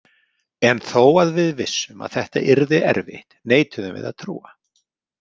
En þó að við vissum að þetta yrði erfitt neituðum við að trúa.